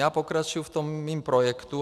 Já pokračuji v tom mém projektu.